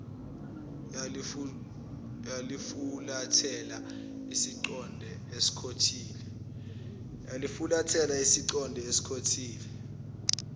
yalifulathela isiqonde escottsville